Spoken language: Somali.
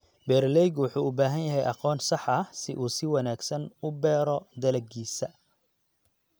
Beeralaygu wuxuu u baahan yahay aqoon sax ah si uu si wanaagsan u beero dalaggiisa.